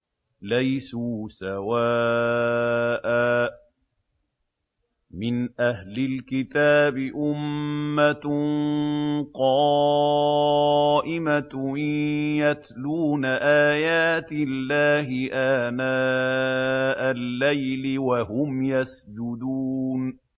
۞ لَيْسُوا سَوَاءً ۗ مِّنْ أَهْلِ الْكِتَابِ أُمَّةٌ قَائِمَةٌ يَتْلُونَ آيَاتِ اللَّهِ آنَاءَ اللَّيْلِ وَهُمْ يَسْجُدُونَ